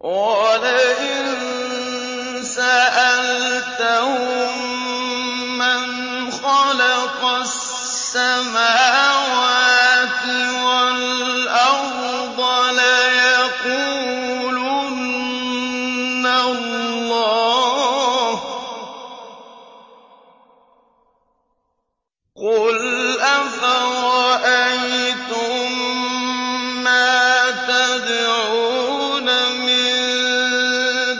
وَلَئِن سَأَلْتَهُم مَّنْ خَلَقَ السَّمَاوَاتِ وَالْأَرْضَ لَيَقُولُنَّ اللَّهُ ۚ قُلْ أَفَرَأَيْتُم مَّا تَدْعُونَ مِن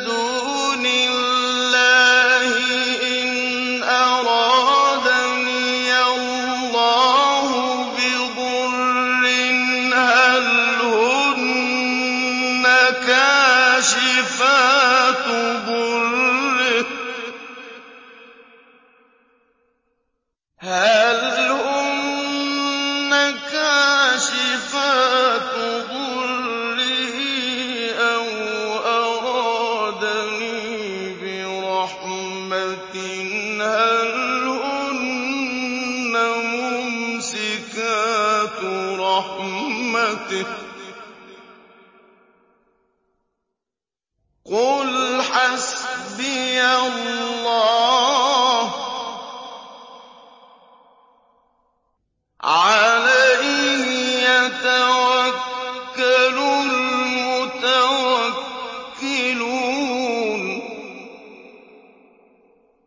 دُونِ اللَّهِ إِنْ أَرَادَنِيَ اللَّهُ بِضُرٍّ هَلْ هُنَّ كَاشِفَاتُ ضُرِّهِ أَوْ أَرَادَنِي بِرَحْمَةٍ هَلْ هُنَّ مُمْسِكَاتُ رَحْمَتِهِ ۚ قُلْ حَسْبِيَ اللَّهُ ۖ عَلَيْهِ يَتَوَكَّلُ الْمُتَوَكِّلُونَ